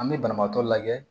An bɛ banabaatɔ lajɛ